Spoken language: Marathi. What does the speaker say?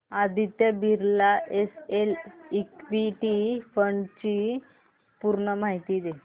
Aditya Birla SL equity fund D ची पूर्ण माहिती दे